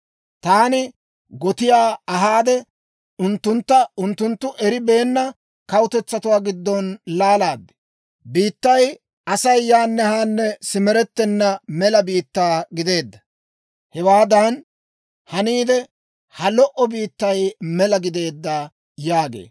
Taani gotiyaa ahaade, unttuntta unttunttu eribeenna kawutetsatuwaa giddon laalaad; biittay Asay yaanne haanne simerettenna mela biittaa gideedda; hewaadan haniide, ha lo"o biittay mela gideedda» yaagee.